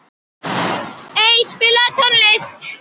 Ey, spilaðu tónlist.